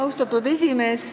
Austatud esimees!